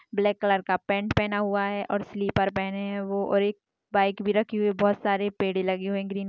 Black colour का pant पहना हुआ है और स्लीपर पहने है वो और एक बाइक भी रखी हुई है बहुत सारे पेड़े लगे हुए है ग्रीन ।